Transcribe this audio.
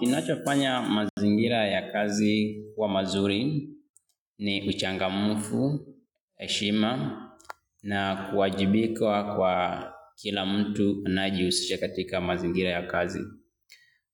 Kinachofanya mazingira ya kazi kuwa mazuri ni uchangamfu, heshima na kuwajibika kwa kila mtu anayejihusisha katika mazingira ya kazi.